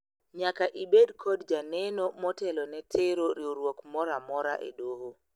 nyaka ibed kod janeno motelo ne tero riwruok moro amora e doho